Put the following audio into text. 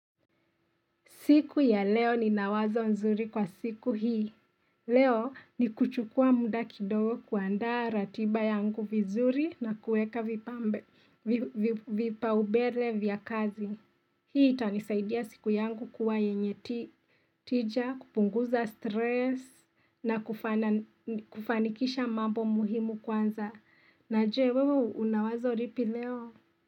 Siku ya leo ni nawazo nzuri kwa siku hii. Leo ni kuchukua muda kidogo kuanda ratiba yangu vizuri na kuweka vipa ubele vya kazi. Hii itanisaidia siku yangu kuwa yenye tija, kupunguza stress na kufanikisha mambo muhimu kwanza. Na je wewe unawazo lipi leo.